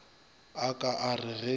a ka a re ge